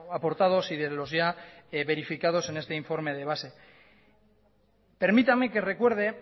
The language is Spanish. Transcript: aportados y de los ya verificados en este informe de base permítame que recuerde